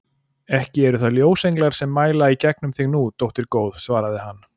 Ekki eru það ljósenglar sem mæla í gegnum þig nú, dóttir góð, svaraði hann.